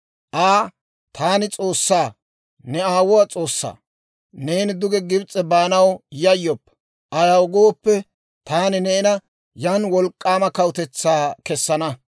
Aa, «Taani S'oossaa, ne aawuwaa S'oossaa; neeni duge Gibs'e baanaw yayyoppa; ayaw gooppe, taani neena yan wolk'k'aama kawutetsaa kesana.